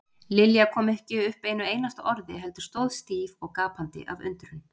Lilja kom ekki upp einu einasta orði heldur stóð stíf og gapandi af undrun.